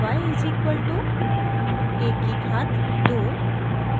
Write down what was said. y is equal to a की घात 2